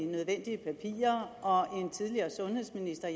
nødvendige papirer og en tidligere sundhedsminister